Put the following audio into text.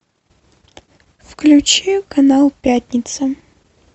включи канал пятница